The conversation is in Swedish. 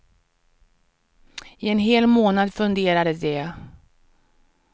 I en hel månad funderade de.